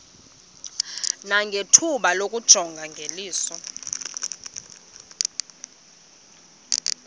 nangethuba lokuyijonga ngeliso